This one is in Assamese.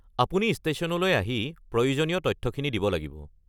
আপুনি ষ্টেশ্যনলৈ আহি প্রয়োজনীয় তথ্যখিনি দিব লাগিব।